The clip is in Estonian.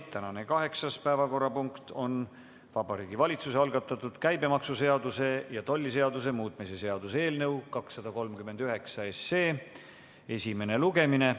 Tänane kaheksas päevakorrapunkt on Vabariigi Valitsuse algatatud käibemaksuseaduse ja tolliseaduse muutmise seaduse eelnõu 239 esimene lugemine.